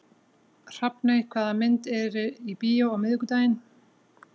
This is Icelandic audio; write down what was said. Hrafney, hvaða myndir eru í bíó á miðvikudaginn?